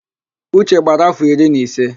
Uche gbara áfọ̀ iri na ise.